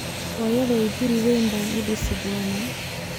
Hooyaday guri weyn baan u dhisi doonaa